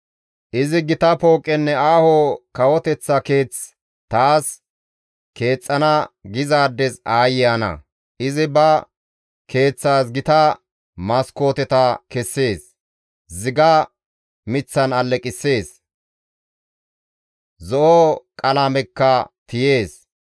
Izi, ‹Gita pooqenne aaho kawoteththa keeth taas keexxana› gizaades aayye ana! Izi ba keeththas gita maskooteta kessees; ziga miththan alleqissees; zo7o qalamekka tiyees.